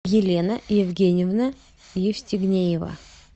елена евгеньевна евстигнеева